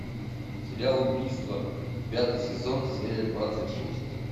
сериал убийство пятый сезон серия двадцать шесть